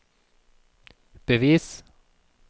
bevis